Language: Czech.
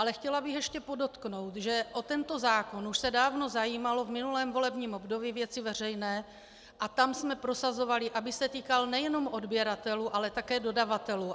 Ale chtěla bych ještě podotknout, že o tento zákon se už dávno zajímaly v minulém volebním období Věci veřejné a tam jsme prosazovali, aby se týkal nejenom odběratelů, ale také dodavatelů.